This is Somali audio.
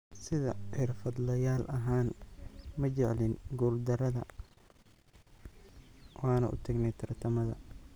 Sida xirfadlayaal ahaan, ma jeclin guuldarrada, waana u tagnay tartamada.